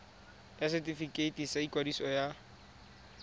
ya setefikeiti sa ikwadiso ya